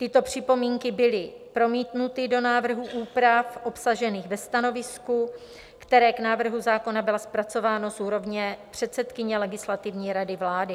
Tyto připomínky byly promítnuty do návrhu úprav obsažených ve stanovisku, které k návrhu zákona bylo zpracováno z úrovně předsedkyně Legislativní rady vlády.